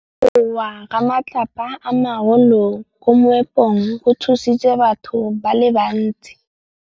Go wa ga matlapa a magolo ko moepong go tshositse batho ba le bantsi.